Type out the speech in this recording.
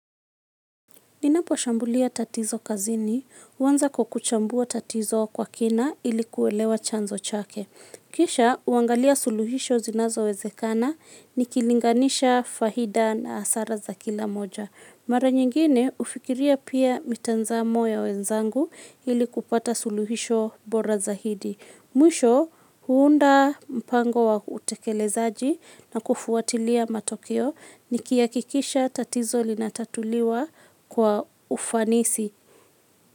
Ninapo shambulia tatizo kazini, huanza kwa kuchambua tatizo kwa kina ili kuelewa chanzo chake. Kisha, huangalia suluhisho zinazowezekana, nikilinganisha faida na hasara za kila moja. Mara nyingine, hufikiria pia mitazamo ya wenzangu ili kupata suluhisho bora zaidi. Mwisho huunda mpango wa utekelezaji na kufuatilia matokeo nikihakikisha tatizo linatatuliwa kwa ufanisi.